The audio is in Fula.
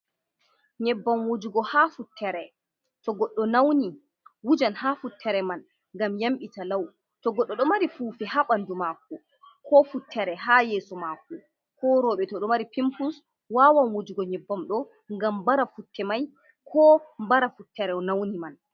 Nyebbam wujugo ha futere to godɗo nauni wujan ha futtere man ngam yambita law. To goɗɗo ɗo mari fufe ha bandu maako, ko futtere ha yeeso maako, ko roɓe to ɗo mari pimpus wawan wujugo nyebbamɗo ngam bara futte mai ko bara futtereo nauni man.